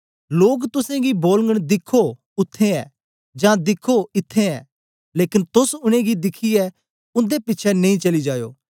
लोक तुसेंगी बोलगन दिख्खो उत्थें ऐ जां दिख्खो इत्त्थैं ऐ लेकन तोस उनेंगी दिखियै उन्दे पिछें नेई चली जायो